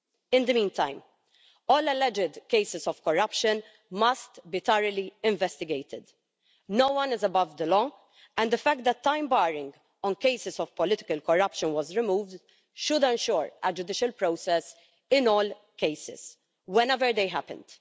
In the meantime, all alleged cases of corruption must be thoroughly investigated. No one is above the law, and the fact that time barring on cases of political corruption was removed should ensure a judicial process in all cases, whenever they happened.